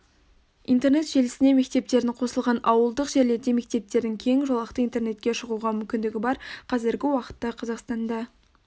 интернет желісіне мектептердің қосылған ауылдық жерлерде мектептердің кең жолақты интернетке шығуға мүмкіндігі бар қазіргі уақытта қазақстанда